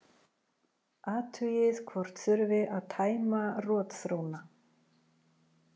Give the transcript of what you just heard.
Athugið hvort þurfi að tæma rotþróna.